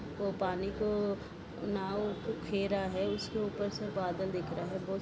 वो पानी को नाव रहा है उसके ऊपर से बादल दिख रहे है बहुत--